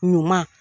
Ɲuman